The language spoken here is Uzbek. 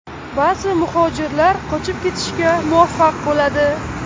Ba’zi muhojirlar qochib ketishga muvaffaq bo‘ladi.